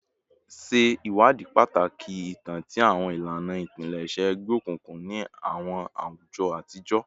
Ṣe iwadii pataki itan ti awọn ilana ipilẹṣẹ egbeokunkun ni awọn awujọ atijọ